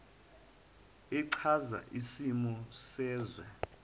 echaza isimo sezwe